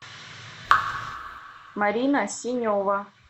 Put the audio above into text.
марина синева